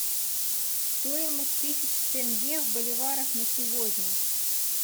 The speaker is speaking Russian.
стоимость тысяч тенге в боливарах на сегодня